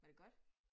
Var det godt?